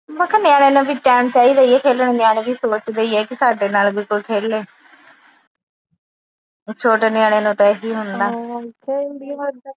ਮੈ ਕਿਹਾ ਨਿਆਣਿਆਂ ਨਾ ਵੀ ਟਾਇਮ ਚਾਹੀਦਾ ਈਆ ਖੇਲਣ ਲਈ ਨਿਆਣੇ ਵੀ ਸੋਚਦੇ ਈ ਏ ਸਾਡੇ ਨਾਲ ਵੀ ਕੋਈ ਖੇਲੇ ਛੋਟੇ ਨਿਆਣੇ ਨੂੰ ਤਾ ਇਹੀ ਹੁੰਦਾ